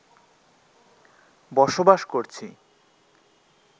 বসবাস করছি